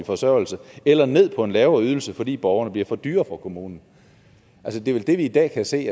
forsørgelse eller ned på en lavere ydelse fordi borgerne bliver for dyre for kommunen det er vel det vi i dag kan se